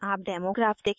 आप demo graph देखेंगे